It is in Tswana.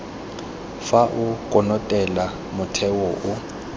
fa o konotelela motheo o